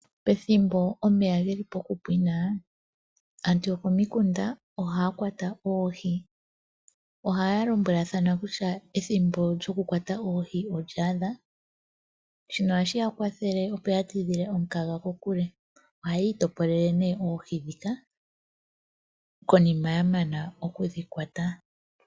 Pethimbo omeya geli pokupwina aantu yokomikunda ohaya kwatwa oohi. Ohaya lombwelathana kutya ethimbo lyokukwata oohi olya adha. Shino ohashi ya kwathele opo ya tidhile omukaga kokule. Ohaya itopolele nee oohi ndhika konima ya mana okudhi kwata.